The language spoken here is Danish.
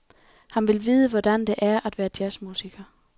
Han vil vide, hvordan det er at være jazz-musiker.